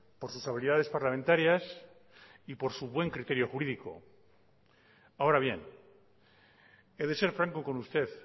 por sus habilidades parlamentarias y por su buen criterio jurídico ahora bien he de ser franco con usted